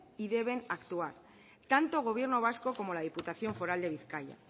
y deben actuar tanto gobierno vasco como la diputación foral de bizkaia